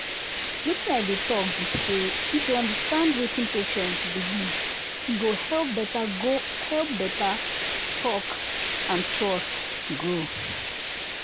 wetin i dey talk be say if you understand wetin patient believe e go help better go help better talk and trust grow.